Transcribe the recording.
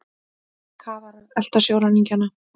Kafarar elta sjóræningjana